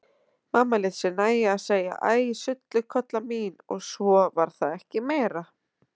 Mamma lét sér nægja að segja: Æ sullukolla mín og svo var það ekki meira.